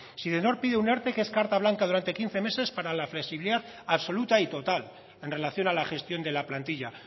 sidenor pide un erte que es carta blanca durante quince meses para la flexibilidad absoluta y total en relación a la gestión de la plantilla